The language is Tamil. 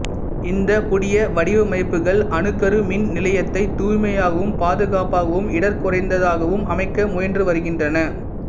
இந்தப் புதிய வடிவமைப்புகள் அணுக்கரு மின் நிலையத்தைத் தூய்மையாகவும் பாதுகாப்பாகவும் இடர்குறைந்ததாகவும் அமைக்க முயன்றுவருகின்றன